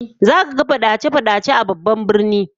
Zaka ga fadace-fadace a babban birnin